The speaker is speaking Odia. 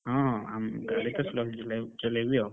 ହଁ slow ଚଲାଏ ଚଲେଇବି ଆଉ।